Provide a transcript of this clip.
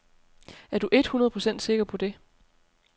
Er du eet hundrede procent sikker på det.